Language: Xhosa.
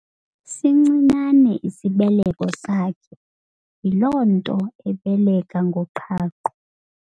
Sincinane isibeleko sakhe yiloo nto ebeleka ngoqhaqho.